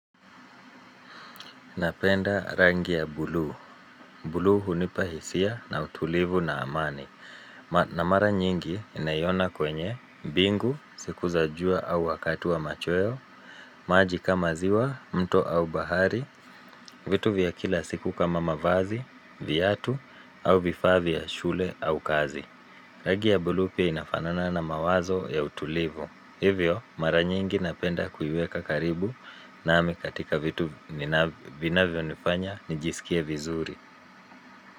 Napenda rangi ya buluu. Buluu hunipa hisia na utulivu na amani. Na mara nyingi ninaiona kwenye, mbingu, siku za jua au wakati wa machweo, maji kama ziwa, mto au bahari, vitu vya kila siku kama mavazi, viatu, au vifaa vya shule au kazi. Rangi ya buluu pia inafanana na mawazo ya utulivu. Hivyo, mara nyingi napenda kuiweka karibu nami katika vitu vinavyonifanya nijisikie vizuri.